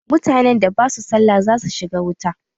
Mutanen da basu sallah za su shiga wuta.